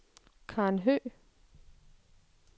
Karen Høgh